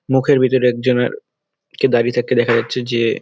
মুখের ভিতরে একজনের কে দাঁড়িয়ে থাকতে দেখা যাচ্ছে যে --